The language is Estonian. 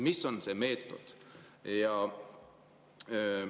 Mis on see meetod?